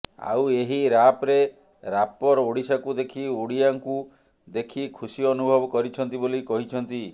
ଆଉ ଏହି ରାପ୍ରେ ରାପର ଓ଼ଡିଶାକୁ ଦେଖି ଓଡ଼ିଆଙ୍କୁ ଦେଖି ଖୁସି ଅନୁଭବ କରିଛନ୍ତି ବୋଲି କହିଛନ୍ତି